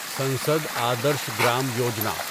Sansad Adarsh Gram Yojana